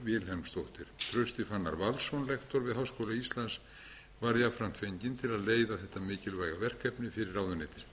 vilhelmsdóttir trausti fannar valsson lektor við háskóla íslands var jafnframt fenginn til að leiða þetta mikilvæga verkefni fyrir ráðuneytið